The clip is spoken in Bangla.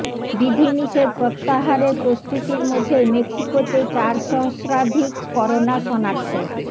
বিধিনিষেধ প্রত্যাহারের প্রস্তুতির মধ্যেই মেক্সিকোতে চার সহস্রাধিক করোনা শনাক্ত